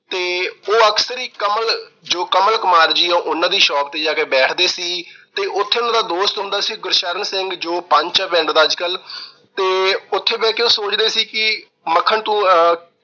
ਤੇ ਉਹ ਅਕਸਰ ਹੀ ਕਮਲ ਜੋ ਕਮਲ ਕੁਮਾਰ ਜੀ ਆ, ਉਹਨਾਂ ਦੀ shop ਤੇ ਜਾ ਕੇ ਬੈਠਦੇ ਸੀ ਤੇ ਉਥੇ ਉਹਨਾਂ ਦਾ ਦੋਸਤ ਹੁੰਦਾ ਸੀ ਗੁਰਸ਼ਰਨ ਸਿੰਘ ਜੋ ਪੰਚ ਆ ਪਿੰਡ ਦਾ ਅੱਜ-ਕੱਲ੍ਹ ਤੇ ਉਥੇ ਬੈਠ ਕੇ ਉਹ ਸੋਚਦੇ ਸੀ ਕਿ ਮੱਖਣ ਤੂੰ ਆਹ